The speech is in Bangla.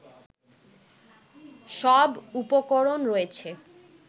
সব উপকরণ রয়েছে